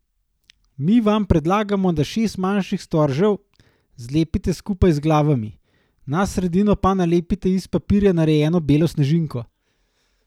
Mi vam predlagamo, da šest manjših storžev zlepite skupaj z glavami, na sredino pa nalepite iz papirja narejeno belo snežinko.